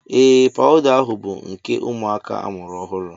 Ee pawuda ahụ bụ nke ụmụaka a mụrụ ọhụụ.